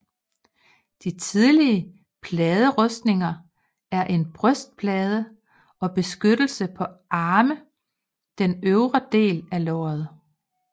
De tidlige pladerustninger er en brystplade og beskyttelse på arme den øvre del af lår